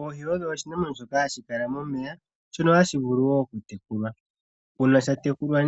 Oohi odho iinamwenyo mbyoka hayi kala momeya mbyono hayi vulu woo okutekulwa. Uuna dhatekulwa